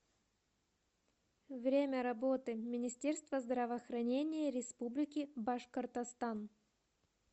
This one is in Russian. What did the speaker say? время работы министерство здравоохранения республики башкортостан